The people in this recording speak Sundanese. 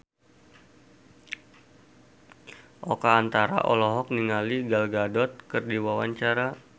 Oka Antara olohok ningali Gal Gadot keur diwawancara